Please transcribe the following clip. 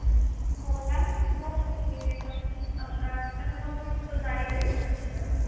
ਹੋਰ mam ਬਸ ਕੁਝ ਨੀ ਜੀ ਬਸ ਕੰਮਕਾਰ ਮੈਂ ਥੋਨੂੰ ਫੁਲਕਾਰੀ ਬਾਰੇ ਪੁੱਛ੍ਣਾ ਕੁਛ madam